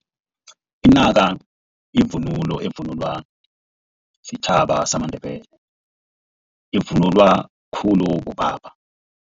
Inaka yivunulo evunulwa sitjhaba samaNdebele ivunulwa khulu bobaba.